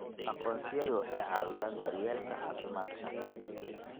Aqoonsiyadu waxay caawiyaan daryeelka caafimaadka.